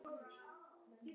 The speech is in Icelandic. Upplagt spil.